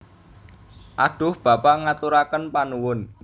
Adhuh Bapa ngaturaken panuwun